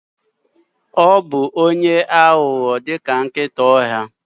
Ọ bụ onye aghụghọ ka nkịta ọhịa?